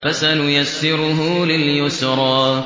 فَسَنُيَسِّرُهُ لِلْيُسْرَىٰ